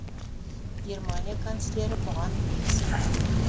германия канцлері бұған бек сенімді